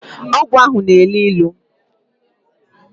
Ogwu ahu na-elu ilu